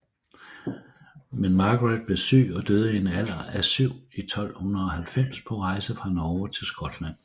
Men Margaret blev syg og døde i en alder af syv i 1290 på rejsen fra Norge til Skotland